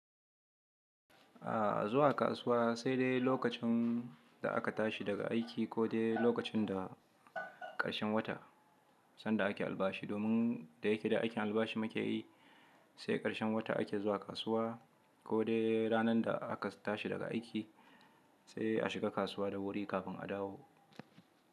A zuwa kasuwa sai dai lokacin da aka tashi daga aiki, ko dai lokacin da ƙarshen wata sanda ake albashi. Domin da yake da aikin albashi mu ka yi, sai ƙarshen wata ake zuwa kasuwa, ko dai ranar da aka tashi daga aiki sai a shiga kasuwa da wuri kafin a dawo.